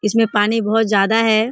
इसमें पानी बहुत ज्यादा है।